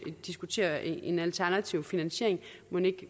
diskutere en alternativ finansiering